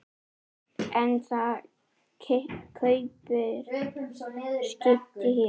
En þið kaupið skip hér.